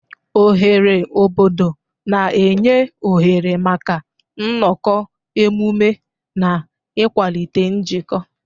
Oghere obodo na-enye oghere maka nnọkọ, emume na ịkwalite njikọ.